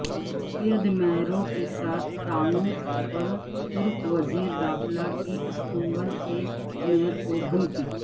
کرد میئروں کے ساتھ تعاون پرترک وزیرداخلہ کی استنبول کے میئرکودھمکی